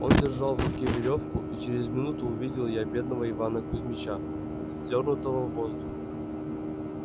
он держал в руке верёвку и через минуту увидел я бедного ивана кузьмича вздёрнутого в воздух